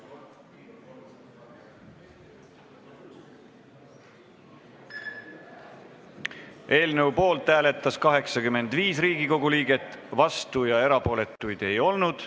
Hääletustulemused Eelnõu poolt hääletas 85 Riigikogu liiget, vastuolijaid ja erapooletuid ei olnud.